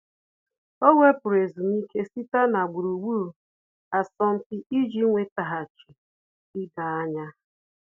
Ọ́ wèpụ̀rụ̀ ezumike site na gburugburu asọmpi iji nwétàghàchí idoanya.